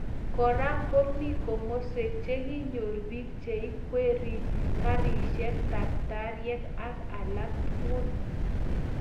Kora komii komoswek che kinyor bik cheikwerie karisiek, taktariek ak alak tukul